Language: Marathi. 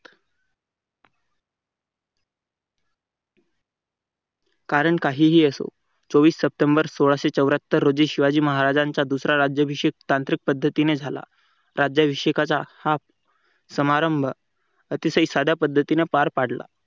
कारण काहीही असो चोवीस सप्टेंबर सोळाशे चौऱ्यात्त रोजी शिवाजी महाराजांचा राज्याभिषेक तांत्रिक पद्धतीने झाला राज्याभिषेकाचा हा समारंभ अतिशय साध्या पद्धतीने पार पाडला.